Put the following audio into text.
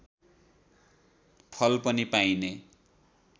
फल पनि पाइने